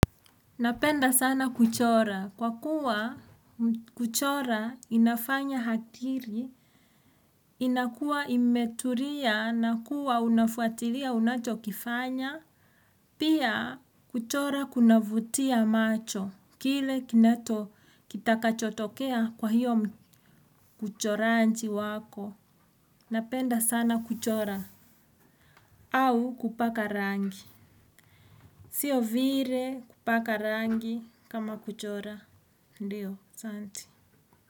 Napenda sana kuchora, kwa kuwa kuchora inafanya akili iwe imetulia, na unakuwa unafuatilia unachokifanya. Pia, kuchora kunavutia macho kwa kile kitakachotokea hapo. Uchoraji wako, napenda sana kuchora. Au kupaka rangi. Sio vile kupaka rangi kama kuchora. Ndiyo, asanti.